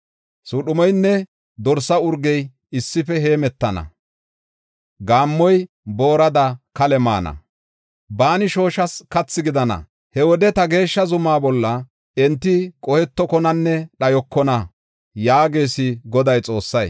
Suudhumeynne dorsa urgey issife heemetana; gaammoy boorada kale maana; baani shooshas kathi gidana. He wode ta geeshsha zumaa bolla enti qohetokonanne dhayokona” yaagees Godaa Xoossay.